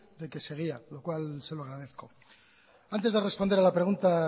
de que seguía lo cual se lo agradezco antes de responder a la pregunta